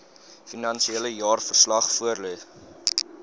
finansiële jaarverslag voorlê